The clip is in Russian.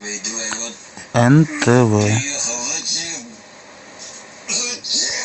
нтв